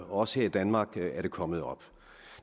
også her i danmark er det kommet op